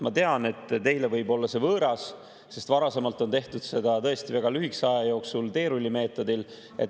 Ma tean, et teile võib olla see võõras, sest varasemalt on tehtud seda tõesti väga lühikese aja jooksul teerullimeetodil.